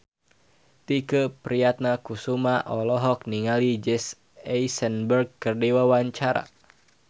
Tike Priatnakusuma olohok ningali Jesse Eisenberg keur diwawancara